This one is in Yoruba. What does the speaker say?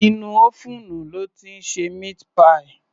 Inú ófúùnù lọ́ ti ń ṣe meat pie